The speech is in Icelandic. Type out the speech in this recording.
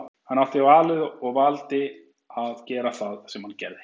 Hann átti valið og valdi að gera það sem hann gerði.